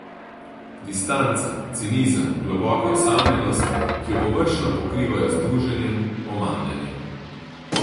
Distanca, cinizem, globoka osamljenost, ki jo površno pokrivajo z druženjem, omamljanjem.